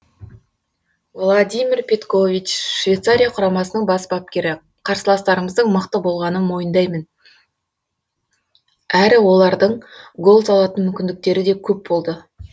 владимир петкович швейцария құрамасының бас бапкері қарсыластарымыздың мықты болғанын мойындаймын әрі олардың гол салатын мүмкіндіктері де көп болды